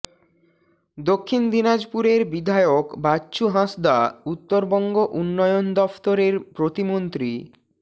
দক্ষিণ দিনাজপুরের বিধায়ক বাচ্চু হাঁসদা উত্তরবঙ্গ উন্নয়ন দফতরের প্রতিমন্ত্রী